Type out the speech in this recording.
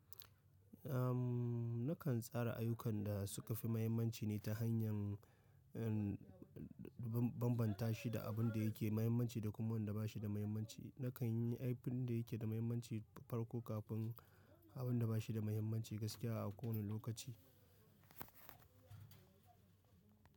Am, nakan tsara ayukan da suka fi mahimmanci ne ta hanyar, um, ban-banbanta shi da abun da yake mahimmanci da kuma wanda ba shi da mahimmanci. Nakan yi abin da yake da mahimmanci farko kafin abun da ba shi da mahimmanci gaskiya a kowane lokaci.